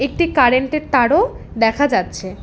একটি কারেন্টের তারও দেখা যাচ্ছে।